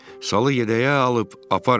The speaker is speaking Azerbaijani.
Salı yədəyə alıb aparın.